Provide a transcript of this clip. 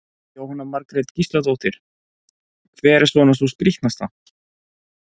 Jóhanna Margrét Gísladóttir: Hver er svona sú skrítnasta?